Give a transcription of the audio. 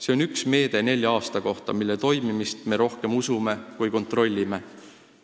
See on üks meede nelja aasta kohta, mille toimimist me rohkem usume kui kontrollime.